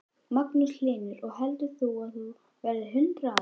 Magnús Hlynur: Og heldur þú að þú verðir hundrað ára?